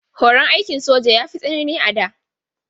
Horon aikin soja ya fi tsanani a da.